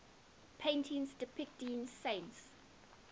paintings depicting saints